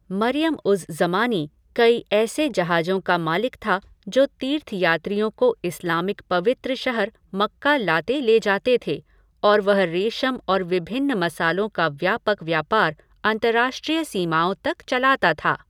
मरियम उज़ ज़मानी कई ऐसे जहाजों का मालिक था जो तीर्थयात्रियों को इस्लामिक पवित्र शहर मक्का लाते ले जाते थे और वह रेशम और विभिन्न मसालों का व्यापक व्यापार अंतरराष्ट्रीय सीमाओं तक चलाता था।